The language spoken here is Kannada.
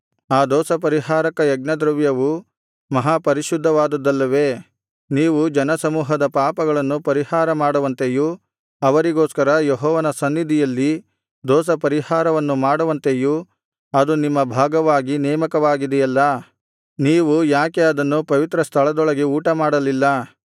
ಆ ದೋಷಪರಿಹಾರಕ ಯಜ್ಞದ್ರವ್ಯವು ಮಹಾಪರಿಶುದ್ಧವಾದದ್ದಲ್ಲವೇ ನೀವು ಜನಸಮೂಹದ ಪಾಪಗಳನ್ನು ಪರಿಹಾರಮಾಡುವಂತೆಯೂ ಅವರಿಗೋಸ್ಕರ ಯೆಹೋವನ ಸನ್ನಿಧಿಯಲ್ಲಿ ದೋಷಪರಿಹಾರವನ್ನು ಮಾಡುವಂತೆಯೂ ಅದು ನಿಮ್ಮ ಭಾಗವಾಗಿ ನೇಮಕವಾಗಿದೆಯಲ್ಲಾ ನೀವು ಯಾಕೆ ಅದನ್ನು ಪವಿತ್ರಸ್ಥಳದೊಳಗೆ ಊಟಮಾಡಲಿಲ್ಲ